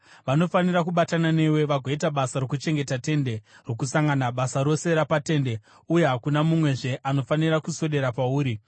Vanofanira kubatana newe vagoita basa rokuchengeta Tende Rokusangana, basa rose rapaTende uye hakuna mumwezve anofanira kuswedera pauri.